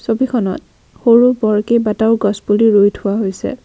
ছবিখনত সৰু বৰ কেইবাটাও গছ পুলি ৰুই থোৱা হৈছে।